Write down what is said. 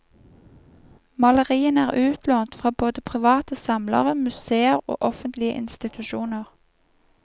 Maleriene er utlånt fra både private samlere, museer og offentlige institusjoner.